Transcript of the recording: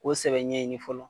O sɛbɛ ɲɛ ɲini fɔlɔ